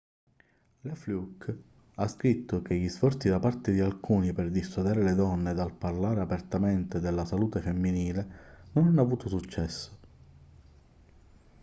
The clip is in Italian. la fluke ha scritto che gli sforzi da parte di alcuni per dissuadere le donne dal parlare apertamente della salute femminile non hanno avuto successo